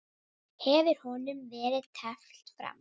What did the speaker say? Hefur honum verið teflt fram?